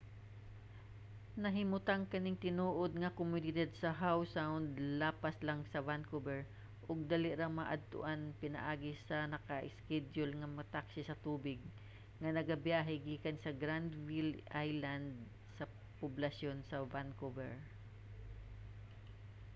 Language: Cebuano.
nahimutang kaning tinuod nga komunidad sa howe sound lapas lang sa vancouver ug dali ra maadtuan pinaagi sa naka-iskedyul nga taksi sa tubig nga nagabiyahe gikan sa granville island sa poblasyon sa vancouver